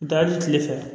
Taa hali kile fɛ